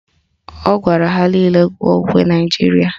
Ọ gwara ha nile gụọ ukwe Naijiria